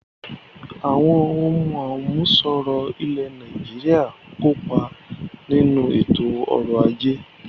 Àwọn ohùn àmúṣọrọ̀ ilẹ̀ Nàìjíríà ń kópa nínú ètò ọrọ̀ ajé rẹ̀